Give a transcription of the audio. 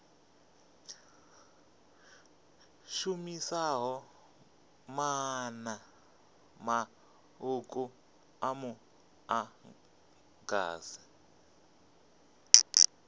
shumisaho maanḓa maṱuku a muḓagasi